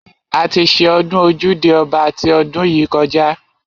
A ti ṣe ọdún ojúde ọba ti ọdún yìí kọjá.